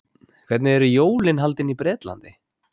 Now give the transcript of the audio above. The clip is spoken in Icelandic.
hvernig eru jólin haldin í bretlandi